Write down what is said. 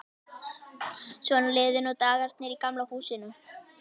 Svona liðu nú dagarnir í Gamla húsinu.